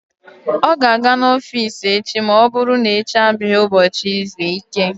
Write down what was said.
Ọ ga-aga n'ọfiisi echi ma ọ bụrụ na echi abụghị ụbọchị izu ike.